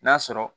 N'a sɔrɔ